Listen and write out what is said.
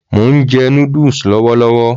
Mò ń jẹ noddles lọ́wọ́ lọ́wọ́